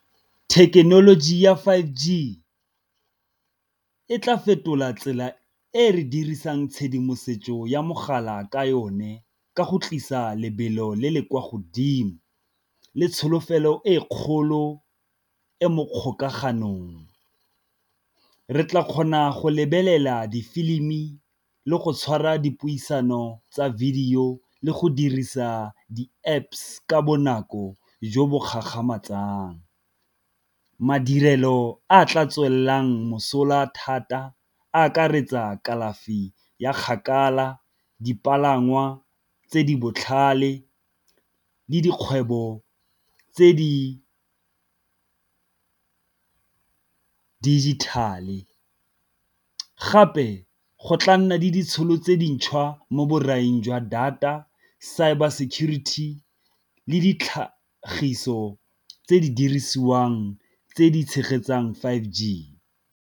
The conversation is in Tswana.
Thekenoloji ya five G e tla fetola tsela e re dirisang tshedimosetso ya mogala ka yone, ka go tlisa lebelo le le kwa godimo le tsholofelo e kgolo e mo kgokaganong re tla kgona go lebelela di filimi le go tshwara dipuisano tsa video le go dirisa di-Apps ka bonako jo bo gagamatsang. Madirelo a tla tswelelang mosola thata akaretsa kalafi ya kgakala, dipalangwa tse di botlhale le dikgwebo tse di digital-e, gape go tla nna le ditšhono tse dintšhwa mo borai jwa data, cyber security le ditlhagiso tse di dirisiwang tse di tshegetsang five G.